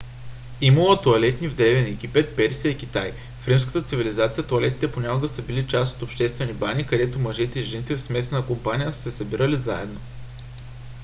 имало е тоалетни в древен египет персия и китай. в римската цивилизация тоалетните понякога са били част от обществени бани където мъжете и жените в смесена компания са се събирали заедно